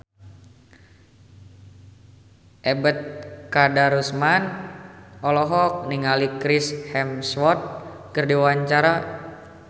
Ebet Kadarusman olohok ningali Chris Hemsworth keur diwawancara